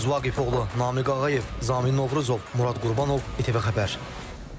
Gündüz Vaqifoğlu, Namiq Ağayev, Zamin Novruzov, Murad Qurbanov, ATV Xəbər.